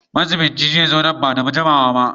Majiɓinci zai zo nan ba da jimawa ba.